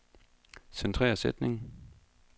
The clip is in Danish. Centrer sætning.